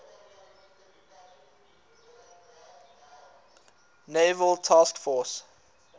naval task force